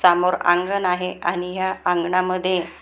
सामोरं अंगण आहे आणि ह्या अंगणामध्ये--